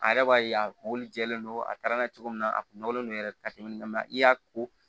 A yɛrɛ b'a ye a kun jɛlen don a taara n'a ye cogo min na a kun nɔgɔlen don yɛrɛ ka tɛmɛ mɛ i y'a ko